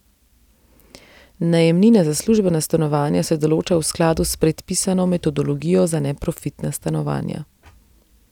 Najemnina za službena stanovanja se določa v skladu s predpisano metodologijo za neprofitna stanovanja.